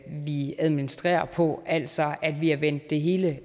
vi administrerer på altså at vi har vendt det hele